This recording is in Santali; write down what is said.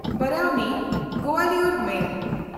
ᱵᱟᱨᱟᱣᱱᱤ–ᱜᱳᱣᱟᱞᱤᱭᱚᱨ ᱢᱮᱞ